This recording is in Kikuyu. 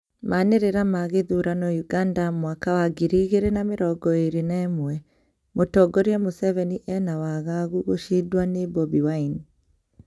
Manĩrira ma gĩthurano Uganda mwaka wa ngiri igĩri na mĩrongo ĩĩrĩ na ĩmwe :mũtongoria Museveni ena wagagu gũcindwa nĩ Bobi Wine